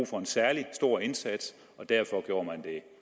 for en særlig stor indsats og derfor gjorde man det